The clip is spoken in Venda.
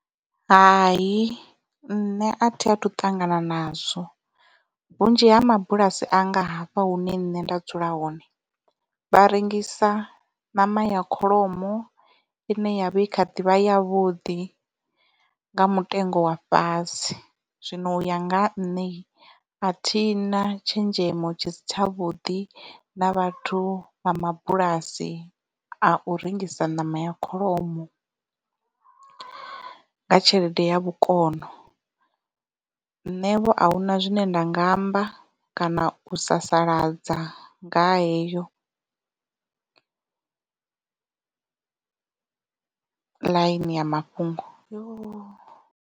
Hai nṋe a thi a thu ṱangana nazwo vhunzhi ha mabulasi anga hafha hune nṋe nda dzula hone vha rengisa ṋama ya kholomo i ne ya vha i kha ḓivha yavhuḓi nga mutengo wa fhasi zwino u ya nga nṋe a thi na tshenzhemo tshi si tshavhuḓi na vhathu vha mabulasi a u rengisa ṋama ya kholomo nga tshelede ya vhukono nṋevho ahuna zwine nda nga amba kana u sasaladza nga ha heyo ḽaini ya mafhungo.